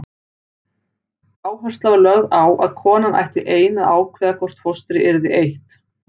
Áhersla var lögð á að konan ætti ein að ákveða hvort fóstri yrði eytt.